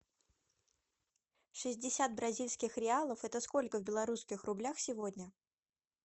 шестьдесят бразильских реалов это сколько в белорусских рублях сегодня